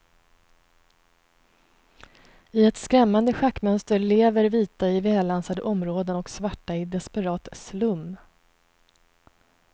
I ett skrämmande schackmönster lever vita i välansade områden och svarta i desperat slum.